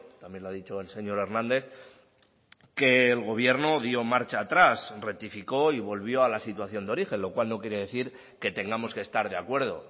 también lo ha dicho el señor hernández que el gobierno dio marcha atrás rectificó y volvió a la situación de origen lo cual no quiere decir que tengamos que estar de acuerdo